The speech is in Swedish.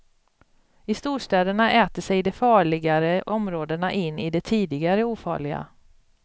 I storstäderna äter sig de farligare områdena in i de tidigare ofarliga.